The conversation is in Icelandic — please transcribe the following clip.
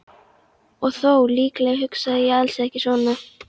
Og þó, líklega hugsaði ég alls ekki svona.